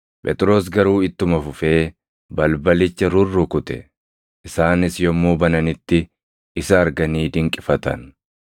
Phexros garuu ittuma fufee balbalicha rurrukute; isaanis yommuu bananitti, isa arganii dinqifatan.